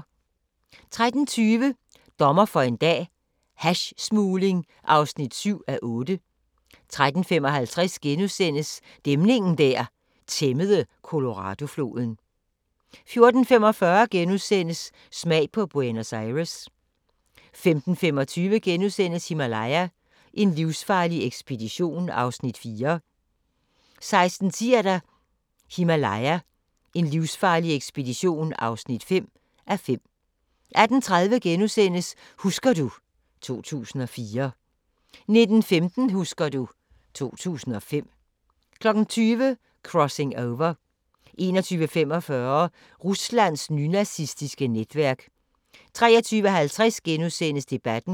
13:20: Dommer for en dag - hashsmugling (7:8) 13:55: Dæmningen der tæmmede Coloradofloden * 14:45: Smag på Buenos Aires * 15:25: Himalaya: en livsfarlig ekspedition (4:5)* 16:10: Himalaya: en livsfarlig ekspedition (5:5) 18:30: Husker du ... 2004 * 19:15: Husker du ... 2005 20:00: Crossing Over 21:45: Ruslands nynazistiske netværk 23:50: Debatten *